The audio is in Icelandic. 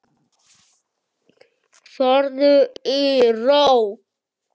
Farðu í ró.